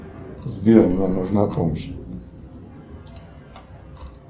сбер мне нужна помощь